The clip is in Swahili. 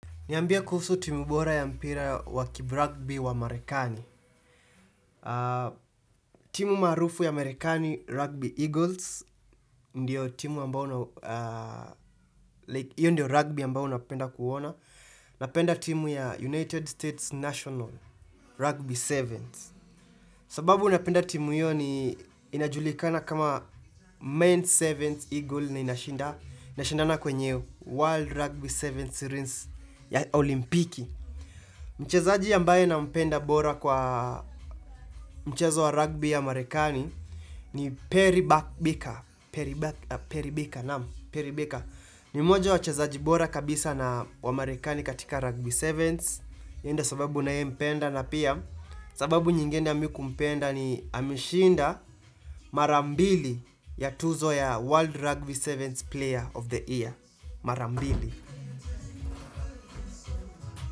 Niambie kuhusu timu bora ya mpira wa kibragbi wa marekani. Timu marufu ya ''Amerikani Rugby Eagles''. Ndiyo timu ambao Iyo ndio ''rugby'' ambao unapenda kuona. Napenda timu ya ''United States National Rugby Sevens''. Sababu napenda timu hiyo ni inajulikana kama ''Men's Sevens Eagle'' na inashindana kwenye ''World Rugby Sevens Series'' ya olimpiki. Mchezaji ambaye nampenda bora kwa mchezo wa ''rugby'' ya marekani ni Perry Buckbeaker Perry Buckbeaker naam Perry Buckbeaker ni moja wa wachezaji bora kabisa na wa marekani katika ''rugby 7'' Yeye ndio sababu ninayempenda na pia sababu nyingine ya mimi kumpenda ni ameshinda mara mbili ya tuzo ya ''World Rugby 7 Player of the Year'' Mara mbili.